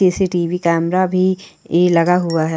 CCTV. Camera भी ए लगा हुआ है।